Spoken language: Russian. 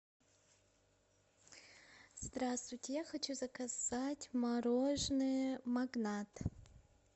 здравствуйте я хочу заказать мороженое магнат